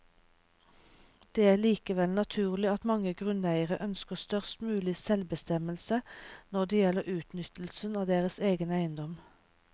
Det er likevel naturlig at mange grunneiere ønsker størst mulig selvbestemmelse når det gjelder utnyttelsen av deres egen eiendom.